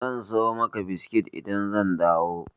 Zan siyo maka biskit idan zan dawo.